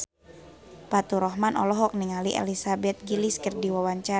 Faturrahman olohok ningali Elizabeth Gillies keur diwawancara